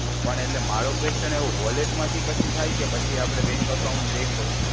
પણ એટલે મારો ક્વેશ્ચન એવો, વોલેટ માંથી પછી થાય કે પછી આપડે બેન્ક એકાઉન્ટ લિન્ક હોય?